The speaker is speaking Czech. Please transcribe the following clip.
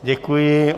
Děkuji.